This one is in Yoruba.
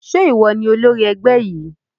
Ṣé ìwọ ni olórí ẹgbẹ́ yìí?